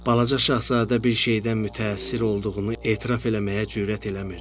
Balaca Şahzadə bir şeydən mütəəssir olduğunu etiraf eləməyə cürət eləmirdi.